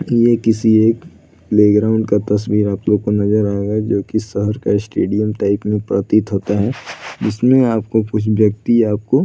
ये किसी एक प्लेग्राउंड का तस्वीर है आप लोग को नजर आएगा जो कि शहर का स्टेडियम टाइप में प्रतीत होता है जिसमें आपको कुछ व्यक्ति आपको --